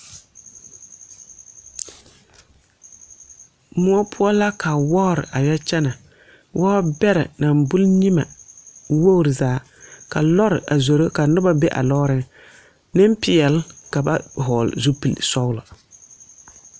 Moɔ pou la ka woɔri a yɛ kyene woɔ bere nang buli nyimɛ woɔri zaa ka loɔri a zuro ka nuba be a loɔring ninpɛɛle kaba vɔgle zupili sɔglo.